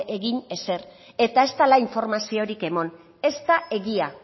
egin ezer eta ez dala informaziorik emon ez da egia